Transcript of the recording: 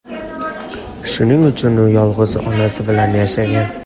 Shuning uchun u yolg‘iz onasi bilan yashagan.